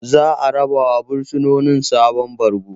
Zaa rabawa bursinoni sabon bargo.